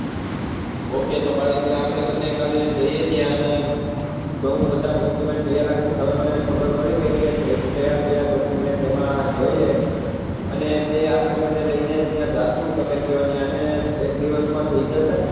okay તો ભાવિનભાઈઆપડે બંને કાલે જઈએ ત્યાં અને હું બધાં document તૈયાર રાખીશ હવે મને ખબર પડી ગઈ કે કયા કયા document તેમાં જોઈએ અને તે આપડે બંને લઇ ને ત્યાં જાસુ તમે ક્યાં ને એક દિવસ માં થઇ જશે ને